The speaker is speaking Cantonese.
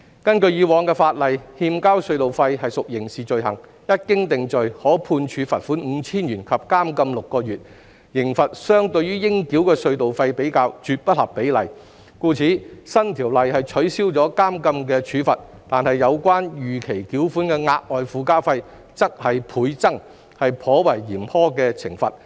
根據以往的法例，欠交隧道費屬刑事罪行，一經定罪，可判處罰款 5,000 元及監禁6個月，刑罰相對於應繳的隧道費，絕不合比例，故此新條例取消了監禁的處罰，但有關逾期繳款的額外附加費則是倍增，是頗為嚴苛的懲罰。